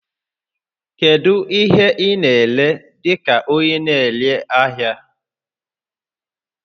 Kedu ihe ị na-ere dị ka onye na-ere ahịa?